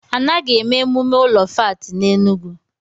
Anaghị èmè emumé ụlọ fáátị n'Enugwu